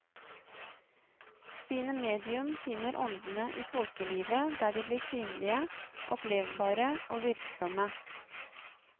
Sine medium finner åndene i folkelivet der de blir synlige, opplevbare og virksomme.